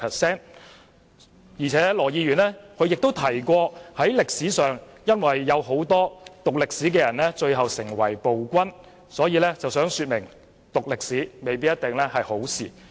此外，羅議員提到歷史上有很多讀歷史的人最後都成為暴君，他以此論證讀歷史未必是好事。